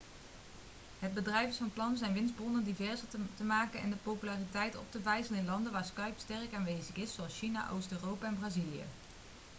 het bedrijf is van plan zijn winstbronnen diverser te maken en de populariteit op te vijzelen in landen waar skype sterk aanwezig is zoals china oost-europa en brazilië